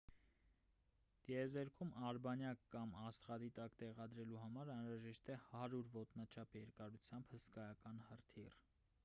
տեզերքում արբանյակ կամ աստղադիտակ տեղադրելու համար անհրաժեշտ է 100 ոտնաչափ երկարությամբ հսկայական հրթիռ